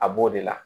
A b'o de la